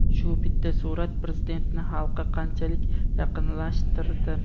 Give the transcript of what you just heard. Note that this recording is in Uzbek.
"Shu bitta surat Prezidentni xalqqa qanchalik yaqinlashtirdi!".